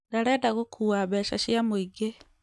Ndarenda gũkũa mbeca cia mũĩngĩ